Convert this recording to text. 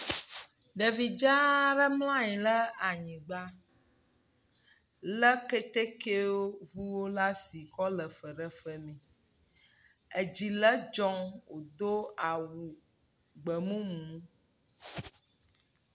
Ɖevidzaaɖe mlanyi la nyigbã le kɛtɛkɛwo ʋu lasi kɔle feɖefemɛ edziledzɔŋ wodó awu gbemumu